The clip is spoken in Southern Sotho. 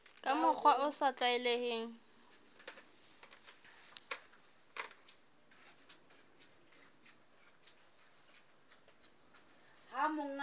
ka mokgwa o sa tlwaelehang